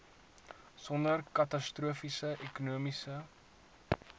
sonder katastrofiese ekonomiese